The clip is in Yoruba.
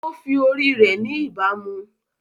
Ó fi ori rẹ̀ ni ìbámu